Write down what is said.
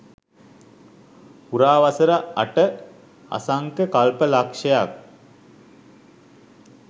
පුරා වසර අට අසංඛ්‍ය කල්ප ලක්ෂයක්